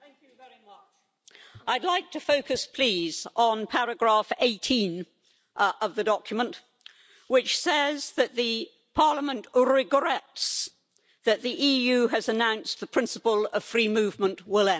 Madam President, I'd like to focus please on paragraph 18 of the document, which says that the Parliament regrets that the EU has announced the principle of free movement will end.